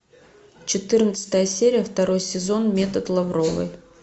четырнадцатая серия второй сезон метод лавровой